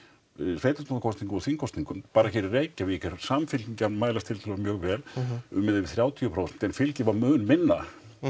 sveitarstjórnarkosningum og þingkosningum bara hér í Reykjavík er Samfylkingin að mælast tiltölulega mjög vel um eða yfir þrjátíu prósent en fylgið var mun minna